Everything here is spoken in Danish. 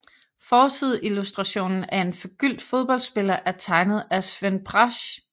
Forsideillustrationen af en forgyldt fodboldspiller er tegnet af Sven Brasch